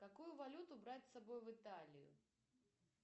какую валюту брать с собой в италию